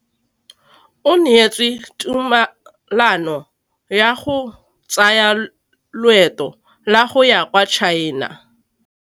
O neetswe tumalanô ya go tsaya loetô la go ya kwa China.